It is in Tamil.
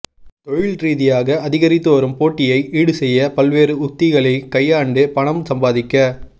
தொழில் ரீதியாக அதிகரித்து வரும் போட்டியை ஈடுசெய்ய பல்வேறு உத்திகளை கையாண்டு பணம் சம்பாதிக்க